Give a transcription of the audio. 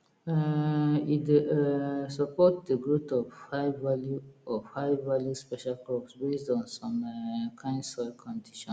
um e dey um support de growth of highvalue of highvalue special crops based on some um kind soil conditions